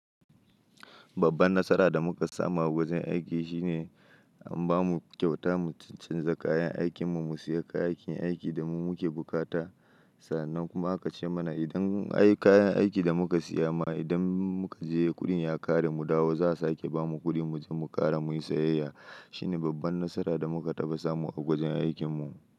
Babban nasara da muka samu a wajen aiki shine an bamu kyauta mu canza kayan aikinmu, mu siya kayan aikin da mu muke bukata sannan kuma aka ce mana idan ai kayan aikin da muka siya ma idan muka je kuɗin ya ƙare mu dawo, za a sake bamu kuɗi mu je mu ƙara muyi sayayya. Shine babban nasara da muka taɓa samu a wajen aikin mu.